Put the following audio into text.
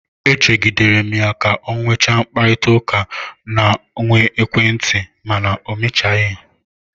E chegidere m ya ka ọ nwechaa mkparịtaụka ọ na-enwe n'ekwentị, mana o mechaghị.